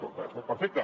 bé perfecte